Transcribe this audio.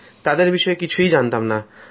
তাঁদের বিষয়ে কিছু জানতাম না